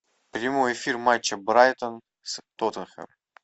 прямой эфир матча брайтон с тоттенхэм